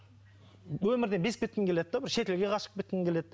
өмірде безіп кеткің келеді де бір шетелге қашып кеткің келеді